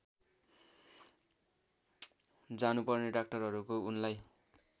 जानुपर्ने डाक्टरहरूको उनलाई